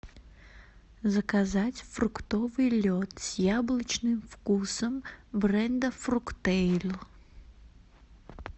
заказать фруктовый лед с яблочным вкусом бренда фруктейль